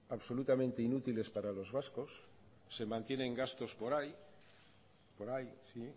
absolutamente inútiles para los vascos se mantienen gastos por ahí por ahí sí